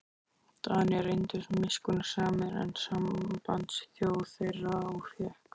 Danir reyndust miskunnsamari en sambandsþjóð þeirra og fékk